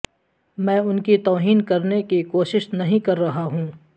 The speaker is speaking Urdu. میں ان کی توہین کرنے کی کوشش نہیں کر رہا ہوں